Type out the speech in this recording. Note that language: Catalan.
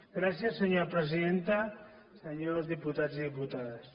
gràcies senyora presidenta senyors diputats i diputades